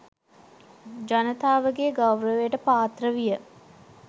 ජනතාවගේ ගෞරවයට පාත්‍ර විය.